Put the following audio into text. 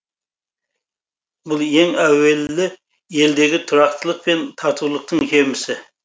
бұл ең әуелі елдегі тұрақтылық пен татулықтың жемісі